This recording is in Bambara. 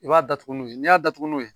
I b'a datugu n'o ye n y'a datugu n'o ye